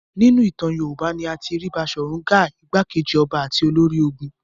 Nínú ìtàn Yorùbá ni a ti rí Baṣọ̀run Gáà, ìgbákejì ọba àti olórí ogun.